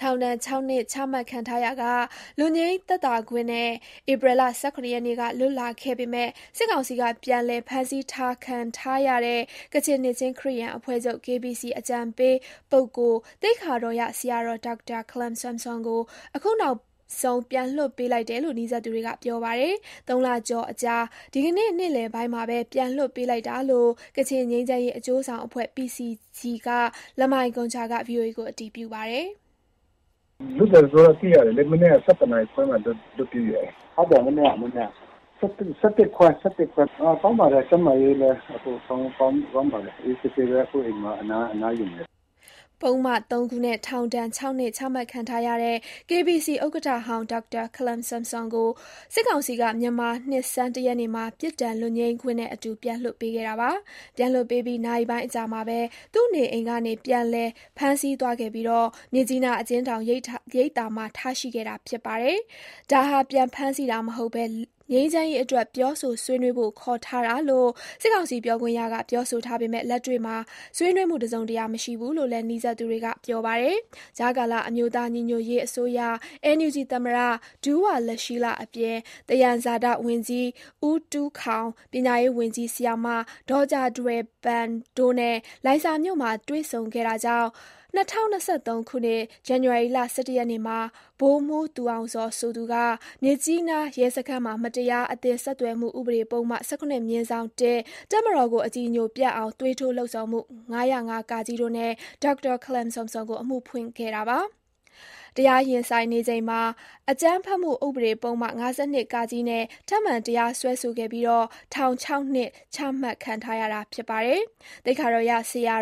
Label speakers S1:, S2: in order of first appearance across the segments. S1: ထောင်ဒဏ် ၆ နှစ်ချမှတ်ခံထားရာက လွတ်ငြိမ်းသက်သာခွင့်နဲ့ ဧပြီ ၁၇ ရက်က လွတ်လာခဲ့ပေမဲ့ စစ်ကောင်စီက ပြန်လည်ဖမ်းဆီးထားခံထားရတဲ့ ကချင်နှစ်ခြင်းခရစ်ယာန်အဖွဲ့ချုပ် အကြံပေး ပုဂ္ဂိုလ် သိက္ခာတော်ရဆရာတော် ဒေါက်တာ ခလမ်ဆမ်ဆွမ်ကို အခုနောက်ဆုံး ပြန်လွှတ်ပေးလိုက်တယ်လို့ နီးစပ်သူတွေက ပြောပါတယ်။ ၃ လကျော်အကြာ ဒီကနေ့နေ့လည်ပိုင်းမှာပဲ ပြန်လွှတ်ပေးလိုက်တာလို့ ကချင်ငြိမ်းချမ်းရေးအကျိုးဆောင် အဖွဲ့ PCG က လမိုင်ဂွန်ဂျာက ဗွီအိုအေကို အတည်ပြုပါတယ်။ "လွတ်တယ်ဆိုတာသိရတယ်လေ။ မနက် ၁၁ခွဲမှာလွတ်ပေးတယ်။ဟုတ်တယ် ဒီမနက်ပေါ့။ ၁၁ခွဲ ၁၁ခွဲ လောက်ကပေါ့။ ကောင်းပါတယ်။ ကျန်းမာရေးလည်းကောင်းပါတယ်။ အခုတော့အိမ်မှာနားနေပါတယ်။" ပုဒ်မ ၃ ခုနဲ့ထောင်ဒဏ် ၆နှစ် ချမှတ်ထားခံထားရတဲ့ KBC ဥက္ကဋ္ဌဟောင်း ဒေါက်တာ ခလမ်ဆမ်ဆွမ်ကို စစ်ကောင်စီက မြန်မာနှစ်ဆန်း ၁ ရက်နေ့မှာ ပြစ်ဒဏ် လွတ်ငြိမ်းခွင့်နဲ့အတူ ပြန်လွှတ်ပေးခဲ့တာပါ။ ပြန်လွှတ်ပေးပြီး နာရီပိုင်းအကြာမှာဘဲ သူ့နေအိမ်ကနေ ပြန်လည်ဖမ်းဆီးသွားခဲ့ပြီး မြစ်ကြီးနားအကျဉ်းထောင် ရိပ်သာမှာ ထားရှိခဲ့တာဖြစ်ပါတယ်။ ဒါဟာ ပြန်ဖမ်းဆီးတာမဟုတ်ဘဲ ငြိမ်းချမ်းရေးအတွက် ပြောဆိုဆွေးနွေးဖို့ ခေါ်ထားတာလို့ စစ်ကောင်စီပြောခွင့်ရက ပြောဆိုထားပေမဲ့ လက်တွေ့မှာ ဆွေးနွေးမှု တစုံတရာ မရှိဘူးလို့လည်း နီးစပ်သူတွေက ပြောပါတယ်။ ကြားကာလ အမျိုးသားညီညွတ်ရေးအစိုးရ NUG သမ္မတ ဒူးဝါလရှီးလ အပြင် သယံဇာတ ဝန်ကြီး ဦးတူးခေါင်၊ ပညာရေးဝန်ကြီး ဆရာမ ဒေါ်ဂျာထွယ်ပန် တို့နဲ့ လိုင်ဇာမြို့မှာတွေ့ဆုံခဲ့တာ ကြောင့် ၂၀၂၃ ဇန်နဝါရီ ၁၁ ရက်မှာ ဗိုလ်မှူး သူအောင်ဇော်ဆိုသူက မြစ်ကြီးနား ရဲစခန်းမှာ မတရား အသင်း ဆက် သွယ်မှုဥပဒေပုဒ်မ ၁၇/၁၊ တပ်မတော်ကိုအကြည်ညိုပျက်အောင် သွေးထိုးလှုံ့ဆော်မှု ၅၀၅ တို့နဲ့ ဒေါက်တာခလမ်ဆမ်ဆွမ်ကို အမှုဖွင့်ခဲ့ပါတယ်။ တရားရင်ဆိုင်နေချိန်မှာ အကြမ်းဖက်မှု ဥပဒေ ပုဒ်မ ၅၂ နဲ့ ထပ်မံတရားစွဲဆိုခဲ့ပြီး ထောင် ၆နှစ် ချမှတ်ခဲ့တာ ဖြစ်ပါတယ်။ သိက္ခာတော်ရဆရာ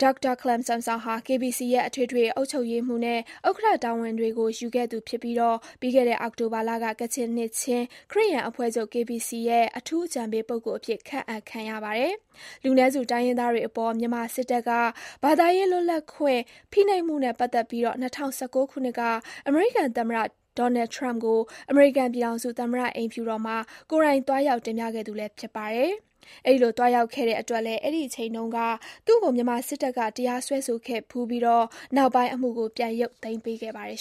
S1: ဒေါက်တာခလမ်ဆမ်ဆွမ်ဟာ KBC ရဲ့ အထွေထွေအတွင်းရေးမှုးချုပ်နဲ့ ဥက္ကဋ္ဌ တာဝန်တွေကို ယူခဲ့သူဖြစ်ပြီး၊ ပြီးခဲ့တဲ့ အောက်တိုဘာလက ကချင်နှစ်ခြင်း ခရစ်ယာန်အဖွဲ့ချုပ် "KBC ရဲ့ အထူးအကြံပေးပုဂ္ဂိုလ် " အဖြစ် ခန့်အပ်ခံရပါတယ်။ လူနည်းစုတိုင်းရင်းသားတွေအပေါ် မြန်မာစစ်တပ်က ဘာသာရေးလွတ်လပ်ခွင့် ဖိနှိပ်မှုနဲ့ ပတ်သက်ပြီး ၂၀၁၉ ခုနှစ်က အမေရိကန်သမ္မတ Donald Trump ကို အမေရိကန်ပြည်ထောင်စု၊ သမ္မတအိမ်ဖြူ တော်မှာ ကိုယ်တိုင်သွားရောက် တင်ပြခဲ့သူလည်း ဖြစ်ပါတယ်။ အဲဒီလို သွားရောက်ခဲ့တဲ့အတွက်လည်း အဲဒီအချိန်တုန်းက သူ့ကို မြန်မာစစ်တပ်က တရားစွဲဆိုခဲ့ဖူးပြီး နောက်ပိုင်း အမှုကို ပြန်ရုပ်သိမ်းပေး ခဲ့ပါတယ်